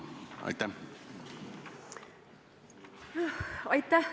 Aitäh!